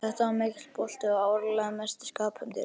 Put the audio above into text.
Þetta var mikill bolti og áreiðanlega mesti skaphundur.